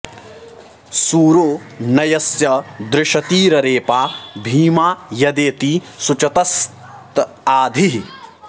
सूरो न यस्य दृशतिररेपा भीमा यदेति शुचतस्त आ धीः